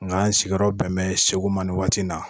Nka n sigiyɔrɔ bɛn bɛ Segu ma nin waati in na